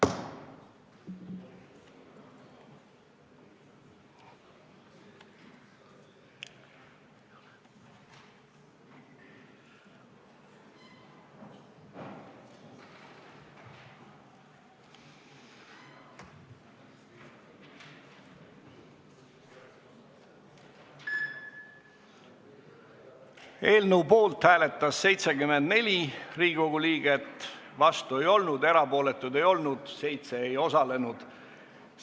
Hääletustulemused Eelnõu poolt hääletas 74 Riigikogu liiget, vastu ei olnud keegi, erapooletuid ka ei olnud, 7 inimest ei osalenud.